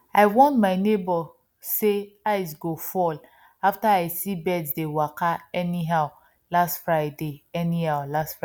i warn my neighbour sey ice go fall after i see birds dey waka anyhow last friday anyhow last friday